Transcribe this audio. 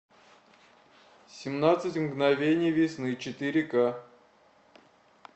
семнадцать мгновений весны четыре ка